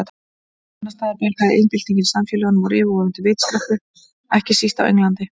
Annars staðar bjargaði iðnbyltingin samfélögum úr yfirvofandi vistkreppu, ekki síst á Englandi.